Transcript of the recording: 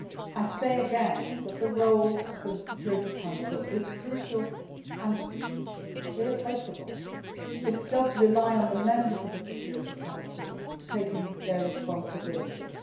I say again that the role of the Security Council is crucial and irreplaceable but it does rely on the members of the Security Council assuming their responsibilities.